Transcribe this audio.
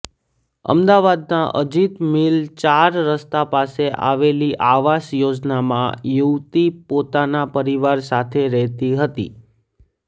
અમદાવાદના અજિત મિલ ચાર રસ્તા પાસે આવેલી આવાસ યોજનામાં યુવતી પોતાના પરિવાર સાથે રહેતી હતી